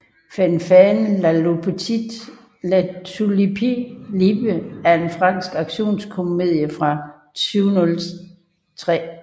Fanfan La Tulipe er en fransk actionkomedie fra 2003